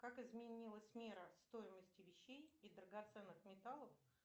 как изменилась мера стоимости вещей и драгоценных металлов